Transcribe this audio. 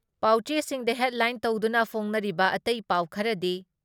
ꯄꯥꯎꯆꯦꯁꯤꯡꯗ headline ꯇꯧꯗꯨꯅ ꯐꯣꯡꯅꯔꯤꯕ ꯑꯇꯩ ꯄꯥꯎ ꯈꯔꯗꯤ